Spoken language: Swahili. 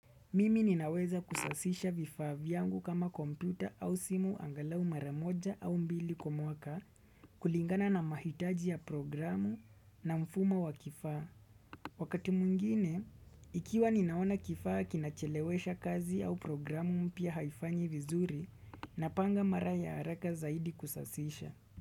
Mimi ninaweza kusasisha vifaa yangu kama kompyuta au simu angalau maramoja au mbili komoka kulingana na mahitaji ya programu na mfumo wa kifaa. Wakati mwingine, ikiwa ninaona kifaa kinachelewesha kazi au programu mpia haifanyi vizuri napanga mara ya haraka zaidi kusasisha.